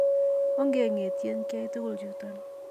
Onge ng'etyen kyai tukul chuton